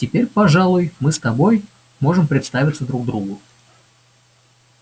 теперь пожалуй мы с тобой можем представиться друг другу